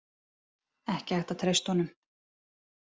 Ekki hægt að treysta honum.